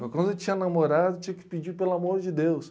Mas quando eu tinha namorada, eu tinha que pedir pelo amor de Deus.